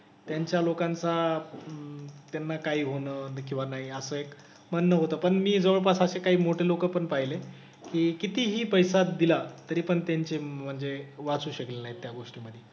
त्यांच्या लोकांचा अं त्यांना काही होणं किंवा नाही असं एक म्हणणं होतं. पण मी जवळपास असे काही मोठे लोकं पण पाहिले की कितीही पैसा दिला तरीपण त्यांचे म्हणजे वाचू शकले नाही त्या गोष्टीमधे.